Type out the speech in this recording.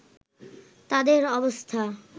তাঁদের অবস্থা